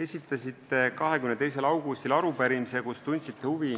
Esitasite 22. augustil arupärimise, kus tundsite huvi